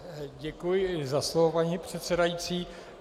Děkuji za slovo, paní předsedající.